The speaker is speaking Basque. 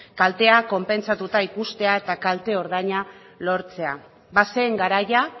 kaltea konpentsatua ikustea eta kalte ordaina lortzea bazen garaia